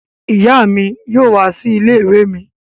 Ìyá mi yóò wá sí ilé-ìwé mi.